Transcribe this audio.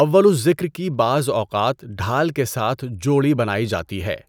اول الذکر کی بعض اوقات ڈھال کے ساتھ جوڑی بنائی جاتی ہے۔